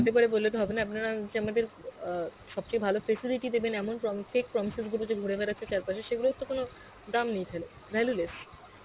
হতে পারে বললে তো হবে না আপনারা যে আমাদের আ সবচে ভালো facility দেবেন এমন pro~ fake promises গুলো যে ঘুরে বেড়াচ্ছে চার পাসে সেগুলোর তো কোনো দাম নেই তাহলে, valueless